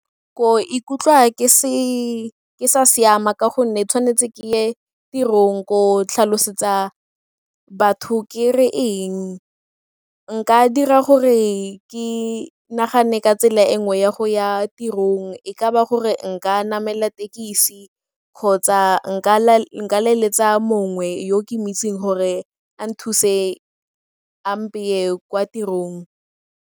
Ko ikutlwa ke sa siama ka gonne tshwanetse ke ye tirong ko tlhalosetsa batho ke re eng, nka dira gore ke nagane ka tsela e nngwe ya go ya tirong e ka ba gore leletsa mongwe yo ke mo itseng gore a nthuse a mpeye kwa tirong.